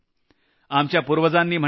आपल्या पूर्वजांन म्हटलं आहे